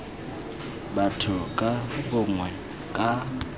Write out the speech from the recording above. tsa batho ka bongwe ka